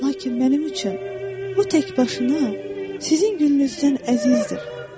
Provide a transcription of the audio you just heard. Lakin mənim üçün bu tək başına sizin gülünüzdən əzizdir.